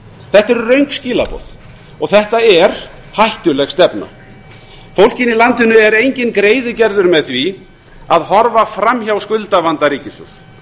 þetta eru röng skilaboð og þetta er hættuleg stefna fólkinu í landinu er enginn greiði gerður með því að horfa framhjá skuldavanda ríkissjóðs